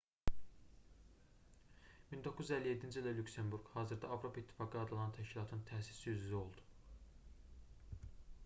1957-ci ildə lüksemburq hazırda avropa i̇ttifaqı adlanan təşkilatın təsisçi üzvü oldu